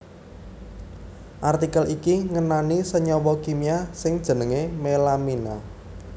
Artikel iki ngenani senyawa kimia sing jenengé melamina